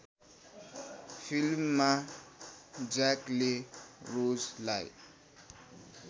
फिल्ममा ज्याकले रोजलाई